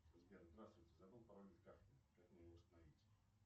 сбер здравствуйте забыл пароль от карты как мне его восстановить